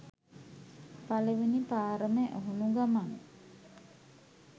පලවෙනි පාරම ඇහුනු ගමන්